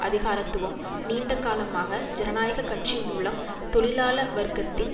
அதிகாரத்துவம் நீண்டகாலமாக ஜனநாயக கட்சி மூலம் தொழிலாள வர்க்கத்தின்